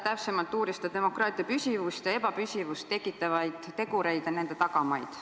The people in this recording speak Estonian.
Täpsemalt uuris ta demokraatia püsivust ja ebapüsivust tekitavaid tegureid ja nende tagamaid.